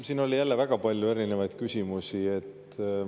Siin oli jälle väga palju erinevaid küsimusi.